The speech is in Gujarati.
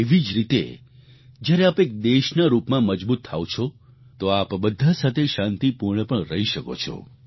એવી જ રીતે જ્યારે આપ એક દેશના રૂપમાં મજબૂત થાવ છો તો આપ બધા સાથે શાંતિપૂર્ણ પણ રહી શકો છો